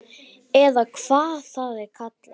Eða hvað það er kallað.